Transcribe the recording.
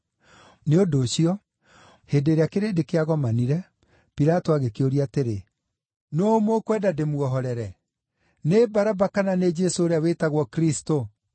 Nĩ ũndũ ũcio, hĩndĩ ĩrĩa kĩrĩndĩ kĩagomanire, Pilato agĩkĩũria atĩrĩ, “Nũũ mũkwenda ndĩmuohorere; nĩ Baraba, kana nĩ Jesũ ũrĩa wĩtagwo Kristũ?”